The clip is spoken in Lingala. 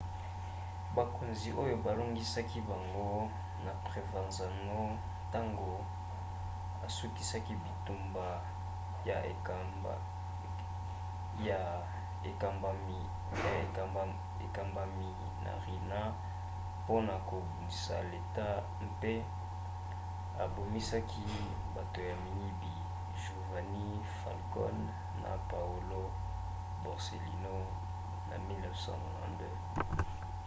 bakonzi oyo balongaki bango na provenzano ntango asukisaki bitumba ya ekambamaki na riina mpona kobundisa leta mpe ebomisaki bato ya miyibi giovanni falcone na paolo borsellino na 1992.